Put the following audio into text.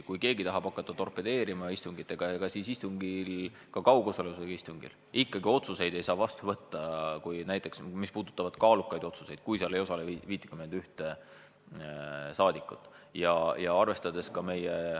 Kui keegi tahab torpedeerima hakata, siis ka kaugosalusega istungil ikkagi otsuseid ei saa vastu võtta, seal ei osale 51 rahvasaadikut.